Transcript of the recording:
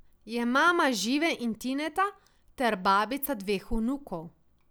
Je mama Žive in Tineta ter babica dveh vnukov.